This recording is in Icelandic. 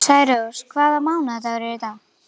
Særós, hvaða mánaðardagur er í dag?